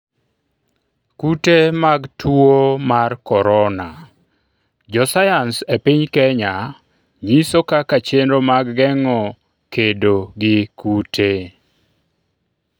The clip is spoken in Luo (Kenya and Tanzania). kute mag tuo mar korona:jo sayans e piny Kenya nyiso kaka chenro mag geng'o kedo gi kute